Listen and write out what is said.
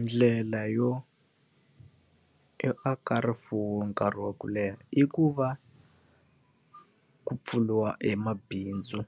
Ndlela yo yo aka rifuwo nkarhi wa ku leha i ku va, ku pfuriwa emabindzu,